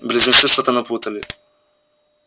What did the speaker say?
близнецы что-то напутали